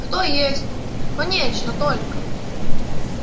кто есть конечно только